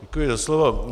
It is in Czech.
Děkuji za slovo.